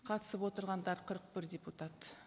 қатысып отырғандар қырық бір депутат